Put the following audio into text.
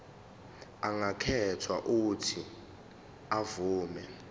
angakhetha uuthi avume